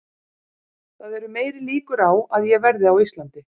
Það eru meiri líkur á að ég verði á Íslandi.